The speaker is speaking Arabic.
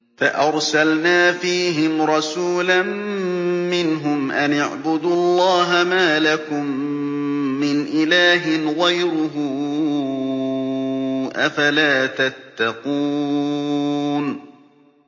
فَأَرْسَلْنَا فِيهِمْ رَسُولًا مِّنْهُمْ أَنِ اعْبُدُوا اللَّهَ مَا لَكُم مِّنْ إِلَٰهٍ غَيْرُهُ ۖ أَفَلَا تَتَّقُونَ